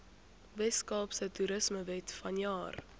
weskaapse toerismewet vanjaar